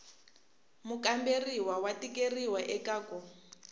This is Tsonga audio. mukamberiwa wa tikeriwa eka ku